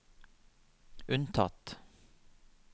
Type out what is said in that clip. unntatt